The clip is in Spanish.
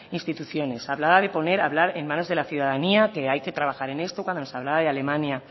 instituciones hablaba de poner hablar en manos de la ciudadanía que hay que trabajar en esto cuando nos hablaba de alemania